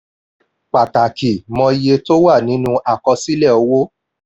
pàtàkì: mọ iye tí ó wà nínú àkosílẹ̀ owó.